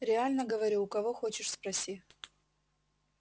реально говорю у кого хочешь спроси